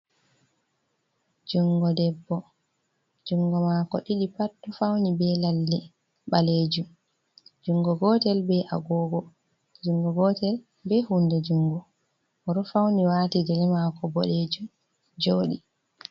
Jungo bebbo, jungo maako ɗiɗi pat ɗo fauni be lalle balejum, jungo gotel be agogo, jungo gotel be huunde jungo, o ɗo fauni wati gele maako boɗejum jooɗii.